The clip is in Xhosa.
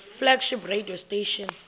flagship radio station